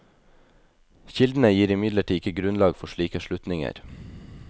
Kildene gir imidlertid ikke grunnlag for slike slutninger.